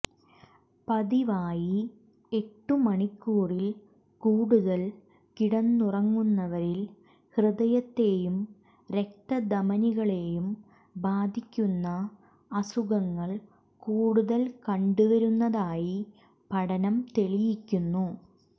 പതിവായി എട്ടു മണിക്കൂറിൽ കൂടുതൽ കിടന്നുറങ്ങുന്നവരിൽ ഹൃദയത്തെയും രക്തധമനികളെയും ബാധിക്കുന്ന അസുഖങ്ങൾ കൂടുതൽ കണ്ടുവരുന്നതായി പഠനം തെളിയിക്കുന്നു